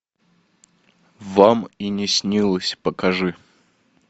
вам и не снилось покажи